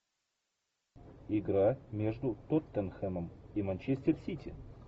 игра между тоттенхэмом и манчестер сити